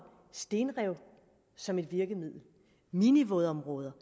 stenrev som et virkemiddel minivådområder